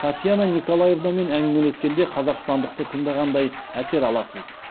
татьяна николаевнамен әңгімелескенде қазақстандықты тыңдағандай әсер аласыз